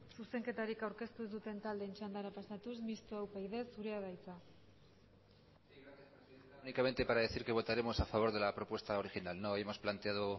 zuzenketarik aurkeztu ez duten taldeen txandara pasatuz mistoa upyd zurea da hitza únicamente para decir que votaremos a favor de la propuesta original no hemos planteado